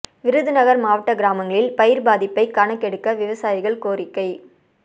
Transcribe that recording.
விருதுநகா் மாவட்ட கிராமங்களில் பயிா் பாதிப்பை கணக்கெடுக்க விவசாயிகள் கோரிக்கை